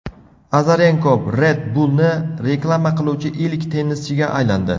Azarenko Red Bullni reklama qiluvchi ilk tennischiga aylandi.